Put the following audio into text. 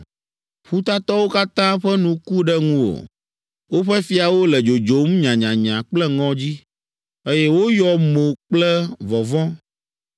Ƒutatɔwo katã ƒe nu ku ɖe ŋuwò; woƒe fiawo le dzodzom nyanyanya kple ŋɔdzi, eye woyɔ mo kple vɔvɔ̃.